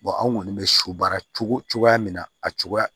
anw kɔni bɛ su baara cogo cogoya min na a cogoya